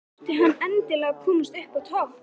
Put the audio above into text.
Þurfti hann endilega að komast upp á topp?